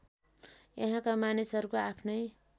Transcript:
यहाँका मानिसहरूको आफ्नै